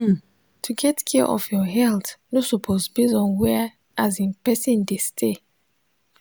hmm to get care of your health no suppose base on where asin person dey stay.